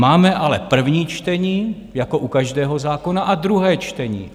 Máme ale první čtení jako u každého zákona a druhé čtení.